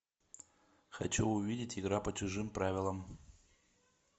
хочу увидеть игра по чужим правилам